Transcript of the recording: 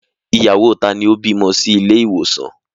Ìyàwó taa ni ó bímọ sí ilé ìwòsàn?